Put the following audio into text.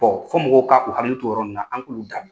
fɔ mɔgɔw ka u hakili t'o yɔrɔ nin na an k'olu dabil